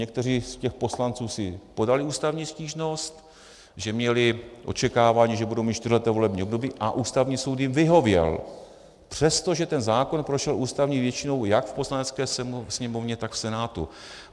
Někteří z těch poslanců si podali ústavní stížnost, že měli očekávání, že budou mít čtyřleté volební období, a Ústavní soud jim vyhověl, přestože ten zákon prošel ústavní většinou jak v Poslanecké sněmovně, tak v Senátu.